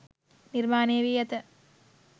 නිර්මාණය වී ඇත.